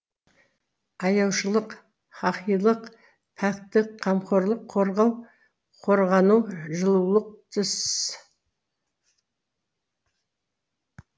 аяушылық хаһилық пәктік қамқорлық қорғау қорғану жылулық тсс